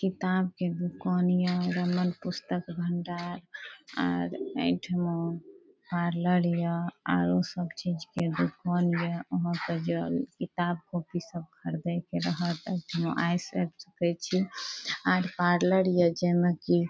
किताब के दुकन ये रमन पुस्तक भंडार आर एठमा पार्लर या आरो सब चीज के दुकान ये अहां के जो किताब कॉपी सब खरदे के रहत सकय छी आर पार्लर ये जेमे की --